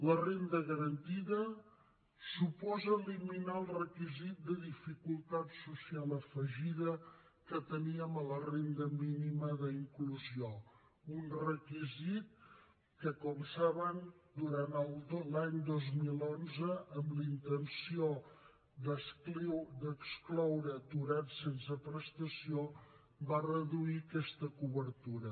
la renda garantida suposa eliminar el requisit de dificultat social afegida que teníem a la renda mínima d’inclusió un requisit que com saben durant l’any dos mil onze amb la intenció d’excloure aturats sense prestació va reduir aquesta cobertura